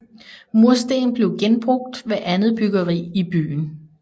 Mursten blev genbrugt ved andet byggeri i byen